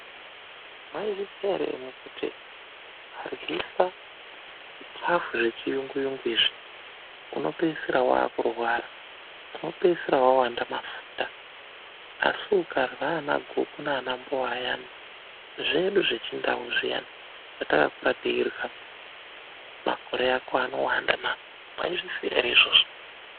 Mwaizviziya ere imwimwi kuti ukaryisa zvikafu zvechiyunguyungu izvi, unopeisira waakurwara, unopeisira wawanda mafuta. Asi ukarya ana guku naana mbowa ayana, zvedu zvechindau zviyani zvetakakura teirya, makore ako anowanda na! Mwaizviziya ere izvozvo.